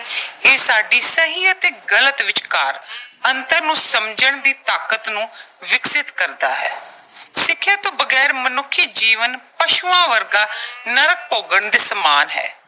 ਇਹ ਸਾਡੀ ਸਹੀ ਅਤੇ ਗਲਤ ਵਿਚਕਾਰ ਅੰਤਰ ਨੂੰ ਸਮਝਣ ਦੀ ਤਾਕਤ ਨੂੰ ਵਿਕਸਿਤ ਕਰਦਾ ਹੈ। ਸਿੱਖਿਆ ਤੋਂ ਬਗੈਰ ਮਨੁੱਖੀ ਜੀਵਨ ਪਸ਼ੂਆਂ ਵਰਗਾ ਨਰਕ ਭੋਗਣ ਦੇ ਸਮਾਨ ਹੈ।